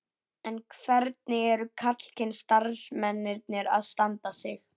En hvernig eru karlkyns starfsmennirnir að standa sig?